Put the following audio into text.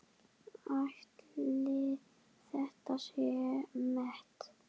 Ætli þetta sé met?